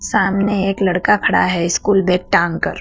सामने एक लड़का खड़ा है स्कूल बैग टांग कर।